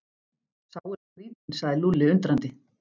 Sá er skrýtinn sagði Lúlli undrandi.